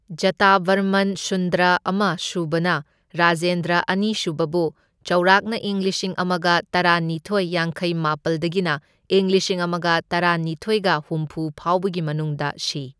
ꯖꯇꯥꯚꯔꯃꯟ ꯁꯨꯟꯗꯔꯥ ꯑꯃ ꯁꯨꯕꯅ ꯔꯖꯦꯟꯗ꯭ꯔ ꯑꯅꯤꯁꯨꯕꯕꯨ ꯆꯥꯎꯔꯥꯛꯅ ꯏꯪ ꯂꯤꯁꯤꯡ ꯑꯃꯒ ꯇꯔꯥꯅꯤꯊꯣꯢ ꯌꯥꯡꯈꯩꯅꯤꯄꯥꯜꯗꯒꯤꯅ ꯢꯪ ꯂꯤꯁꯤꯡ ꯑꯃꯒ ꯇꯔꯥꯅꯤꯊꯣꯢꯒ ꯍꯨꯝꯐꯨ ꯐꯥꯎꯕꯒꯤ ꯃꯅꯨꯡꯗ ꯁꯤ.